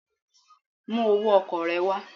Bring your transport fare